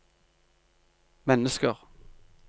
mennesker